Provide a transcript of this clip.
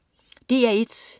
DR1: